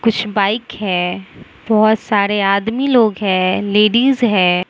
कुछ बाइक है बहुत सारे आदमी लोग है लेडीज है।